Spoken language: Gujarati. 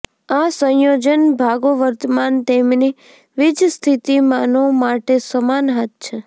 આ સંયોજન ભાગો વર્તમાન તેમની વીજસ્થિતિમાનો માટે સમાન હાથ છે